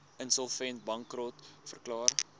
insolvent bankrot verklaar